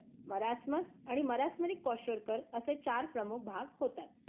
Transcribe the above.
Marasmus आणि मरासमरी क्वेशरकर असे चार प्रमुख भाग होतात.